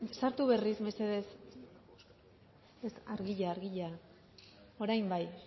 sartu berriz mesedez ez argia argia orain bai